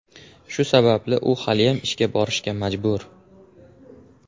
Shu sababli u haliyam ishga borishga majbur.